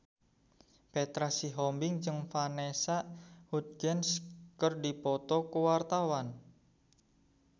Petra Sihombing jeung Vanessa Hudgens keur dipoto ku wartawan